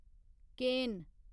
केन